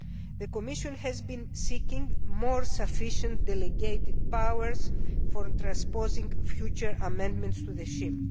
The Commission has been seeking more sufficient delegated powers for transposing future amendments to the scheme.